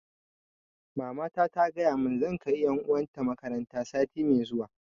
Mamata ta gaya mun zan kai ƴan uwa ta makaranta sati mai zuwa